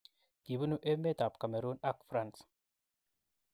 Kibunu emet ab Cameroon ak France.